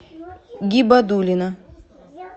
гибадуллина